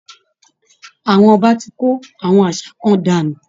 Àwọn Ọba tí kó àwọn àṣà kan dànù